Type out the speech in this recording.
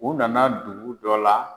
U nana dugu dɔ la.